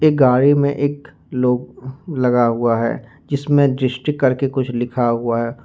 एक गाड़ी में एक लगा हुआ है जिसमें डिस्ट्रिक करके कुछ लिखा हुआ है।